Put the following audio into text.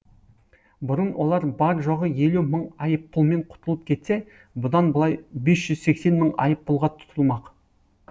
бұрын олар бар жоғы елу мың айыппұлмен құтылып кетсе бұдан былай бес жүз сексен мың айыппұлға тұтылмақ